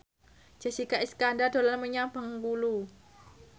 Jessica Iskandar dolan menyang Bengkulu